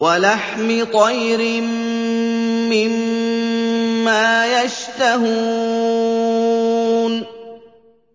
وَلَحْمِ طَيْرٍ مِّمَّا يَشْتَهُونَ